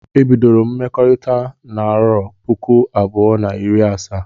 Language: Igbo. Ebidoro m mmekọrita n'arọ puku abụọ na iri asa